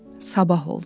Sabah oldu.